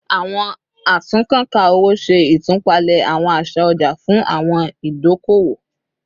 Awọn atunnkanka owo ṣe itupalẹ awọn aṣa ọja fun awọn idi idoko-owo